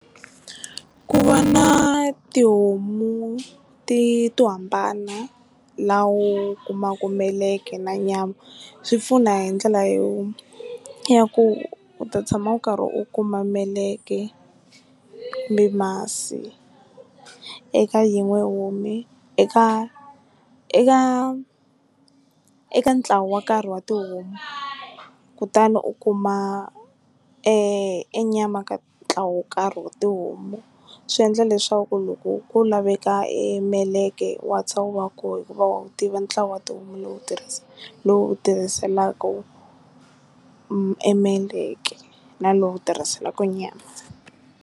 Ku va na tihomu ti to hambana la u kumaku meleke na nyama swi pfuna hi ndlela yo ya ku u ta tshama u karhi u kuma meleka ni masi eka yin'we homu eka eka eka ntlawa wo karhi wa tihomu kutani u kuma e nyama ka ntlawa wo karhi wa tihomu, swi endla leswaku loko ku laveka e meleka wa wu va koho hikuva wa wu tiva ntlawa wa tihomu lowu tirhisa lowu tirhiselaka e meleka na lowu tirhiselaka nyama.